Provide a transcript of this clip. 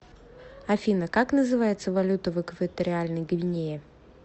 афина как называется валюта в экваториальной гвинее